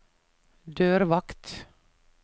dørvakt